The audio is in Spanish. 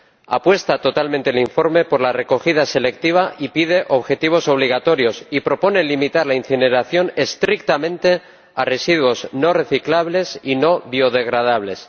Apuesta totalmente el informe por la recogida selectiva y pide objetivos obligatorios, y propone limitar la incineración estrictamente a residuos no reciclables y no biodegradables.